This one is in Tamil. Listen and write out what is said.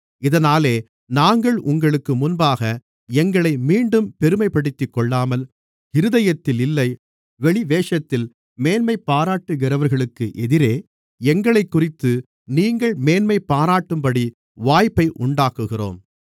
இதனாலே நாங்கள் உங்களுக்கு முன்பாக எங்களை மீண்டும் பெருமைப்படுத்திக்கொள்ளாமல் இருதயத்தில் இல்லை வெளிவேஷத்தில் மேன்மை பாராட்டுகிறவர்களுக்கு எதிரே எங்களைக்குறித்து நீங்கள் மேன்மைபாராட்டும்படி வாய்ப்பை உண்டாக்குகிறோம்